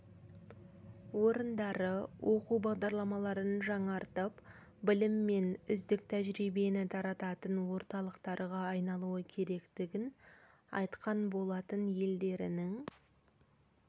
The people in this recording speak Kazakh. орындары оқу бағдарламаларын жаңартып білім мен үздік тәжірибені тарататын орталықтарға айналуы керектігін айтқан болатын елдерінің